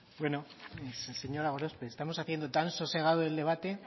señora gorospe estamos haciendo tan sosegado el debate